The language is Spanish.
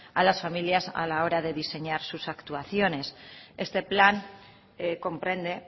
a las familias a la hora de diseñar sus actuaciones este plan comprende